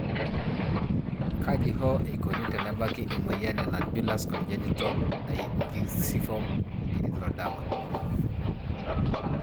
Kaji hoo ikoni tenebaki emoyian nonbullous congenital ichthyosiform erythroderma?